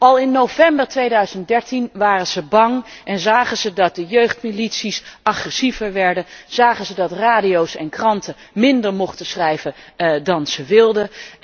Al in november 2013 waren zij bang en zagen zij dat de jeugdmilities agressiever werden en dat radio's en kranten minder mochten schrijven dan zij wilden.